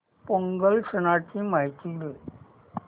पोंगल सणाची माहिती दे